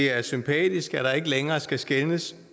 er sympatisk at der ikke længere skal skelnes